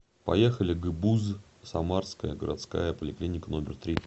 поехали гбуз самарская городская поликлиника номер три